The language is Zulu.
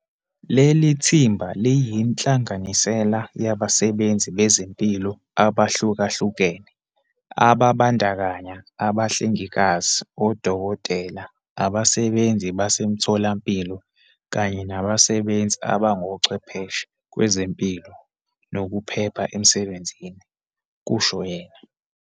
"Leli thimba liyinhlanganisela yabasebenzi bezempilo abahlukahlukene, ababandakanya abahlengikazi, odokotela, abasebenzi basemitholampilo kanye nabasebenzi abangochwepheshe kwezempilo nokuphepha emsebenzini," kusho yena.